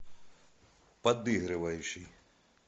подыгрывающий